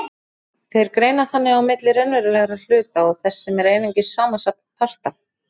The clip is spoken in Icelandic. Þeir greina þannig á milli raunverulegra hluta og þess sem er einungis samansafn parta.